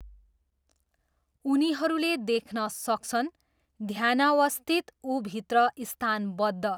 उनीहरूले देख्न सक्छन्, ध्यानावस्थित ऊभित्र स्थानबद्ध।